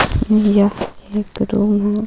यह एक रूम हे.